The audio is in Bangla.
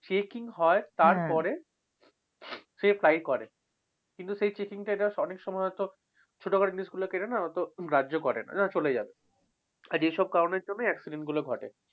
checking হয়, তারপরে সে fly করে। কিন্তু সেই checking টা অনেক সময় হয়তো ছোটখাটো জিনিসগুলো অত গ্রাহ্য করে না ওরা চলে যায়। আর এসব কারণের জন্য accident ঘটে।